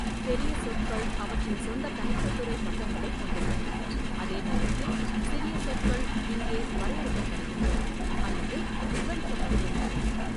பெரிய சொற்கள் அவற்றின் சொந்த தனி கட்டுரை பக்கங்களைக் கொண்டுள்ளன, அதே நேரத்தில் சிறிய சொற்கள் இங்கே வரையறுக்கப்படுகின்றன அல்லது விவரிக்கப்படுகின்றன.